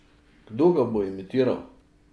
Kdo ga bo imitiral?